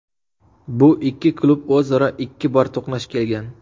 Bu ikki klub o‘zaro ikki bor to‘qnash kelgan.